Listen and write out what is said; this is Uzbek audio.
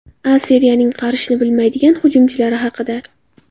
A Seriyaning qarishni bilmaydigan hujumchilari haqida.